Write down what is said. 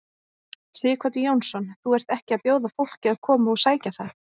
Sighvatur Jónsson: Þú ert ekki að bjóða fólki að koma og sækja það?